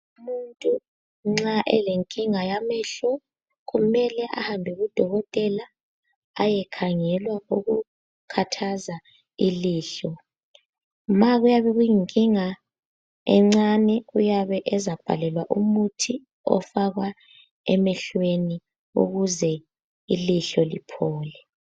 Umuntu nxa elenkinga yamehlo kumele ahambe kudokotela ayekhangelwa okukhathaza ilihlo. Ma kuyabe kuyinkinga encane uyabe ezabhalelwa umuthi ofakwa emehlweni ukuze ilihlo liphole.